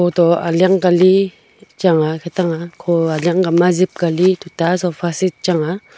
kho to aliak ka li chang a khatang a kho aliak ang kali ma jep kali tuta sofa set chang a.